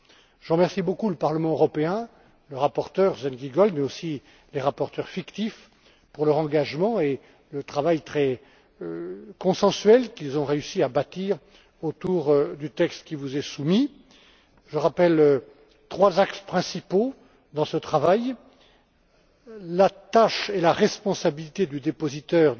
Je remercie vivement le Parlement européen, le rapporteur Sven Giegold, mais aussi les rapporteurs fictifs, pour leur engagement et le travail très consensuel qu'ils ont réussi à bâtir autour du texte qui vous est soumis. Je rappelle trois axes principaux de ce travail la tâche et la responsabilité du dépositaire